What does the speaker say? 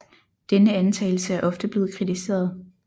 Denne antagelse er ofte blevet kritiseret